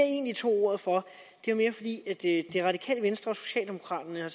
egentlig tog ordet for var mere fordi det det radikale venstre og socialdemokraterne